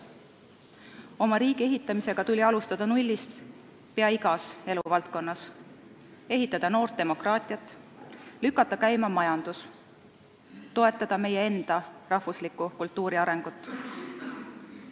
Oma riigi ehitamisega pidi alustama nullist peaaegu igas eluvaldkonnas – tuli ehitada noort demokraatiat, lükata käima majandus ja toetada meie enda rahvusliku kultuuri arengut.